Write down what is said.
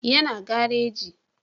Ya na gareji